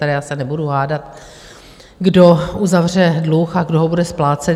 Tady já se nebudu hádat, kdo uzavře dluh a kdo ho bude splácet.